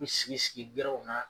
N mi sigi sigi na